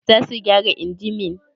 Za su gyara injimin?